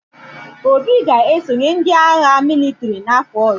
Obi ga-esonye ndị agha mịlịtrị n’afọ ọzọ.